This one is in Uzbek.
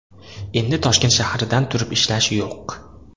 Endi Toshkent shahridan turib ishlash yo‘q!